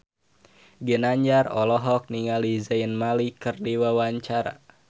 Ginanjar olohok ningali Zayn Malik keur diwawancara